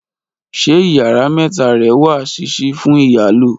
ṣe ìyára meta re wa sisi fún iyalo